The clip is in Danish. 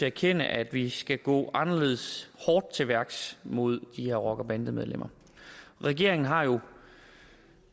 erkende at vi skal gå anderledes hårdt til værks mod de her rockere og bandemedlemmer regeringen har jo